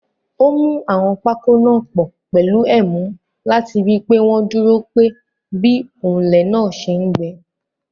Ó mú àwọn pákó náà pọ̀ pẹ̀lú ẹ̀mú láti rí pé wọ́n dúró pe bí òǹlẹ̀ náà ṣe ń gbẹ.